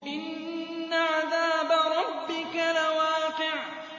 إِنَّ عَذَابَ رَبِّكَ لَوَاقِعٌ